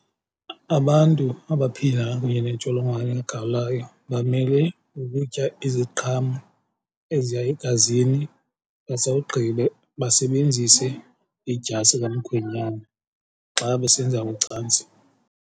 Abantu abaphila kunye nentsholongwane kagawulayo bamele ukutya iziqhamo eziya egazini basawugqiba basebenzise idyasi kamkhwenyana xa besenza ucantsi.